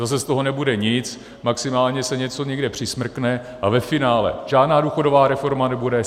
Zase z toho nebude nic, maximálně se něco někde přismrkne a ve finále žádná důchodová reforma nebude.